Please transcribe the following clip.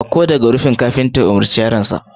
Sauko daga wannan rufin kafinta ya umarci yaron aikin sa